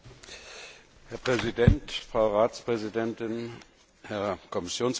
Herr Präsident, Frau Ratspräsidentin, Herr Kommissionspräsident!